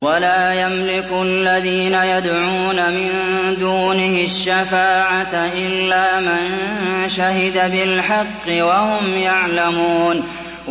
وَلَا يَمْلِكُ الَّذِينَ يَدْعُونَ مِن دُونِهِ الشَّفَاعَةَ إِلَّا مَن شَهِدَ بِالْحَقِّ وَهُمْ يَعْلَمُونَ